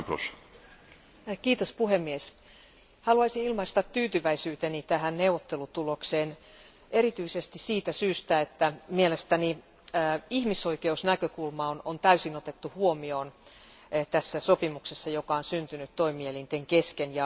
Arvoisa puhemies, haluaisin ilmaista tyytyväisyyteni tähän neuvottelutulokseen erityisesti siitä syystä, että mielestäni ihmisoikeusnäkökulma on täysin otettu huomioon tässä sopimuksessa, joka on syntynyt toimielinten kesken.